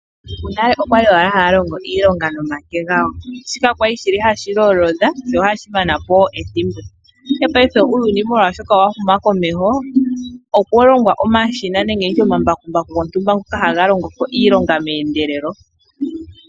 Aantu monale okwali owala haya longo iilonga noomake, gawo shoka kwali hashi lolodha sho ohashi manapo ethimbo , ndele paife molwa uuyuni wahuma komeho okwalongwa omashina nenge omambakumbaku gontumba ngoka haga longoko iilonga meendelelo.